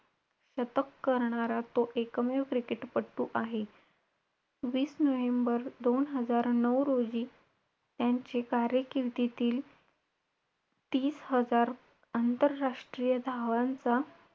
कधी कधी आई ओरडते तर त्याचा रागाही येतो.पण तो राग तेवढ्या पुरता असतो नंतर स पुढे जाऊन समजते की आई ओरडते ते आपल्या चांगल्या साठीच ओरडते.